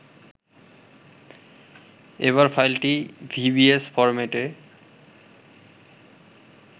এবার ফাইলটি vbs ফরম্যাটে